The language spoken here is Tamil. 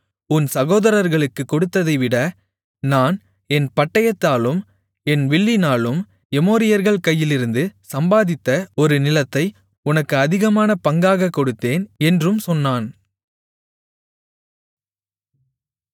உன் சகோதரர்களுக்குக் கொடுத்ததைவிட நான் என் பட்டயத்தாலும் என் வில்லினாலும் எமோரியர்கள் கையிலிருந்து சம்பாதித்த ஒரு நிலத்தை உனக்கு அதிகமான பங்காகக் கொடுத்தேன் என்றும் சொன்னான்